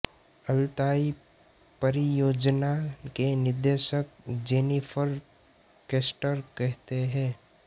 Altai परियोजना के निदेशक जेनिफर कैस्टर कहते हैं